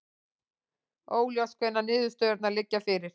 Óljóst hvenær niðurstöðurnar liggja fyrir